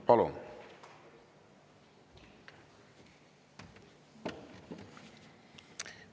Palun!